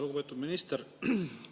Lugupeetud minister!